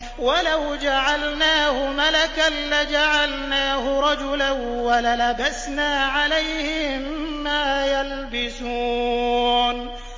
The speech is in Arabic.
وَلَوْ جَعَلْنَاهُ مَلَكًا لَّجَعَلْنَاهُ رَجُلًا وَلَلَبَسْنَا عَلَيْهِم مَّا يَلْبِسُونَ